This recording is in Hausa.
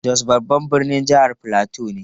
Jos babban birnin jihar Filato ne.